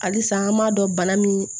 Halisa an b'a dɔn bana min